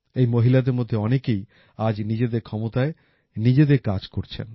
এই মহিলাদের মধ্যে অনেকেই আজ নিজেদের ক্ষমতায় নিজেদের কাজ করছেন